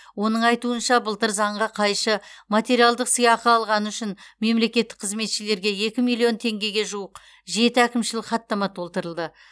оның айтуынша былтыр заңға қайшы материалдық сыйақы алғаны үшін мемлекеттік қызметшілерге екі миллион теңгеге жуық жеті әкімшілік хаттама толтырылды